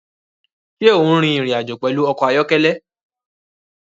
Ṣé ò ń rin ìrìn-àjò pẹ̀lú ọkọ̀ ayọ́kẹ́lẹ́?